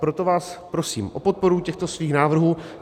Proto vás prosím o podporu těchto svých návrhů.